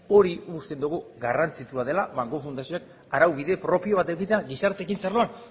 hori uste dugu garrantzitsua dela banku fundazioan arau bide propio bat edukitzea gizarte ekintza arloan